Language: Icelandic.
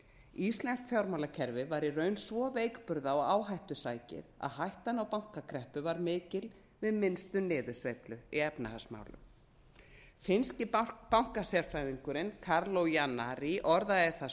íslenska fjármálakerfið var í raun svo veikburða og áhættusækið að hættan á bankakreppu var mikil við minnstu niðursveiflu í efnahagsmálum finnski bankasérfræðingurinn kaarlo janari orðaði það